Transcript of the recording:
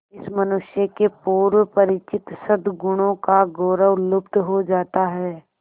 इस मनुष्य के पूर्व परिचित सदगुणों का गौरव लुप्त हो जाता है